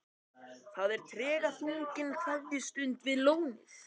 Það er tregaþrungin kveðjustund við lónið.